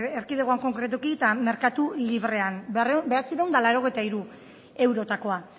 erkidegoan konkretuki eta merkatu librean bederatziehun eta laurogeita hiru eurotakoa